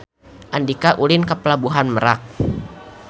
Andika ulin ka Pelabuhan Merak